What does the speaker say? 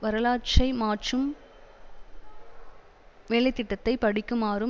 வரலாற்றை மாற்றும் வேலை திட்டத்தை படிக்குமாறும்